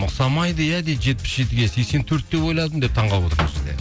ұқсамайды иә дейді жетпіс жетіге сексен төрт деп ойладым деп таңғалып отыр мына жерде